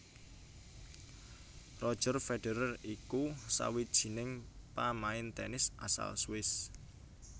Roger Federer iku sawijining pamain tenis asal Swiss